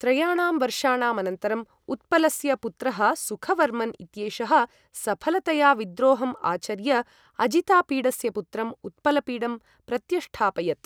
त्रयाणां वर्षाणाम् अनन्तरम् उत्पलस्य पुत्रः सुखवर्मन् इत्येषः सफलतया विद्रोहम् आचर्य अजितापीडस्य पुत्रम् उत्पलपीडं प्रत्यष्ठापयत्।